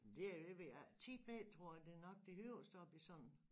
Det det ved jeg ikke 10 meter tror jeg det er nok det højeste op i sådan